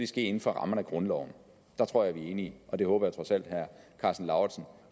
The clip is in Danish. ske inden for rammerne af grundloven der tror jeg vi er enige og det håber jeg trods alt at herre karsten lauritzen